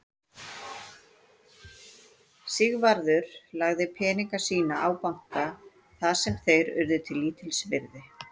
Sigvarður lagði peninga sína á banka þar sem þeir urðu lítils virði.